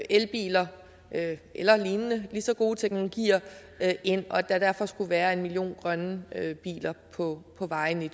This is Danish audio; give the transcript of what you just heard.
elbiler eller lignende lige så gode teknologier ind og at der derfor skulle være en million grønne biler på på vejene i